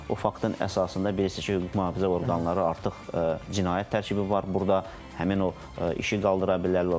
O faktın əsasında bilirsiniz ki, hüquq mühafizə orqanları artıq cinayət tərkibi var burda, həmin o işi qaldıra bilər.